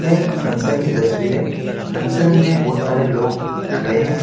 यह एक फंक्शन की तस्वीर है फंक्शन में बहुत सारे लोग खड़े हैं।